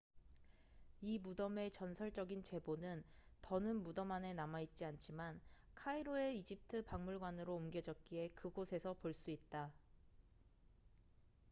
이 무덤의 전설적인 재보는 더는 무덤 안에 남아있지 않지만 카이로의 이집트 박물관으로 옮겨졌기에 그곳에서 볼 수 있다